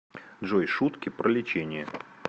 джой шутки про лечение